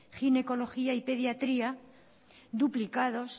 ginecología y pediatría duplicados